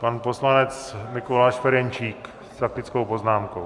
Pan poslanec Mikuláš Ferjenčík s faktickou poznámkou.